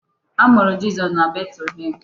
A mụrụ Jizọs na Betlehem.